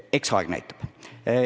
Eks aeg näitab.